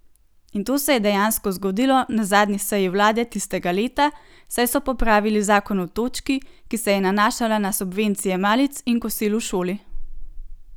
In to se je dejansko zgodilo na zadnji seji vlade tistega leta, saj so popravili zakon v točki, ki se je nanašala na subvencije malic in kosil v šoli.